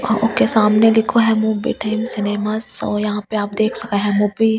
Okay सामने लिखो है मोविटेंस सिनेमा सॉ यहाँ आप देख सके है मूवी ।